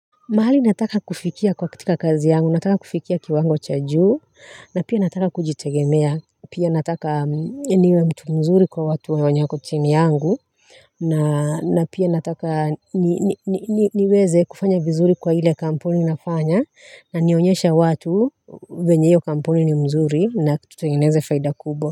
Mahali nataka kufikia kwa katika kazi yangu, nataka kufikia kiwango cha juu, na pia nataka kujitegemea, pia nataka m niwe mtu mzuri kwa watu wa wenye chini yangu, na napia nataka ni ni ni niweze kufanya vizuri kwa ile kampuni nafanya, na nionyesha watu venye iyo kampuni ni mzuri na tutengeneze faida kubwa.